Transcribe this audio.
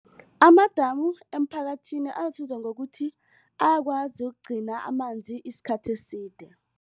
Amadamu eemphakathini alisizo ngokuthi ayakwazi ukugcina amanzi isikhathi eside.